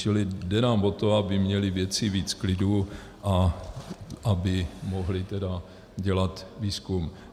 Čili jde nám o to, aby měli vědci víc klidu a aby mohli tedy dělat výzkum.